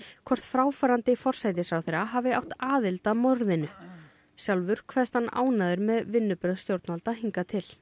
hvort fráfarandi forsætisráðherra hafi átt aðild að morðinu sjálfur kveðst hann ánægður með vinnubrögð stjórnvalda hingað til